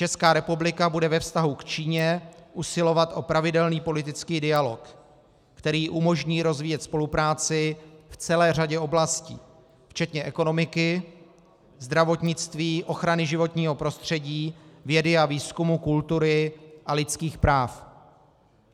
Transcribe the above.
Česká republika bude ve vztahu k Číně usilovat o pravidelný politický dialog, který umožní rozvíjet spolupráci v celé řadě oblastí včetně ekonomiky, zdravotnictví, ochrany životního prostředí, vědy a výzkumu, kultury a lidských práv.